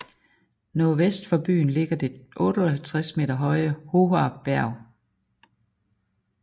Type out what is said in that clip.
Nordvest for byen ligger det 58 meter høje Hoher Berg